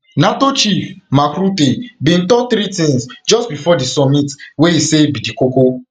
nato chief mark rutte bin to three tins just bifor di summit wey e say be di kono